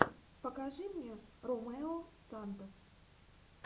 покажи мне ромео сантос